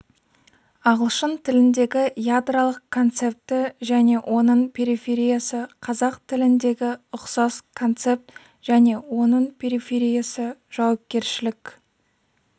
ағылшын тіліндегі ядролық концепті және оның перифериясы қазақ тіліндегі ұқсас концепт және оның перифериясы жауапкершілікк